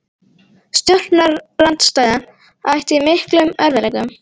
Stjórnarandstaðan ætti í miklum erfiðleikum